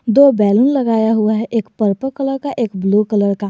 दो बैलून लगाया हुआ है एक पर्पल कलर का एक ब्लू कलर का।